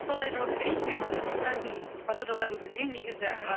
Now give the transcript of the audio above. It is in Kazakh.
солай жауап берейінші мен мысықтардың пародаларын білмеймін негізі